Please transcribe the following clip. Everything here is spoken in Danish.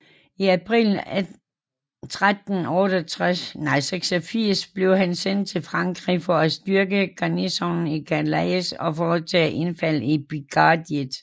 I april 1386 blev han sendt til Frankrig for at styrke garnisonen i Calais og foretage indfald i Pikardiet